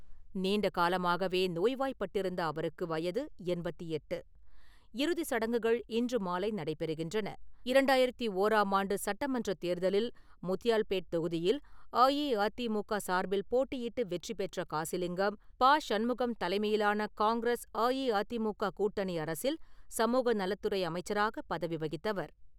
நீண்ட காலமாகவே நோய்வாய்ப்பட்டிருந்த அவருக்கு வயது எண்பத்தி எட்டு. இறுதி சடங்குகள் இன்று மாலை நடைபெறுகின்றன. இரண்டாயிரத்து ஓராம் ஆண்டு சட்டமன்றத் தேர்தலில் முத்தியால்பேட் தொகுதியில் அஇஅதிமுக சார்பில் போட்டியிட்டு வெற்றி பெற்ற காசிலிங்கம், பா. சண்முகம் தலைமையிலான காங்கிரஸ்-அஇஅதிமுக கூட்டணி அரசில் சமூக நலத்துறை அமைச்சராக பதவி வகித்தவர்.